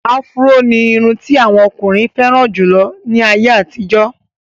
Áfúró ní irun ti àwọn ọkùnrin fẹ́ràn jù lọ ní àyè àtijọ́.